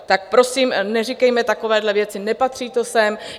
Tak prosím, neříkejme takovéhle věci, nepatří to sem.